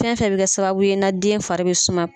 Fɛn fɛ bɛ ka sababu ye na den fari bɛ suma.